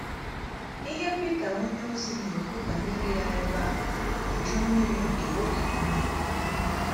Ihe Pita onyeozi na - ekwu banyere ya ebe a bụ Iju Mmiri nke oge Noa.